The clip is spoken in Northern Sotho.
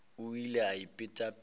o ile a ipeta pelo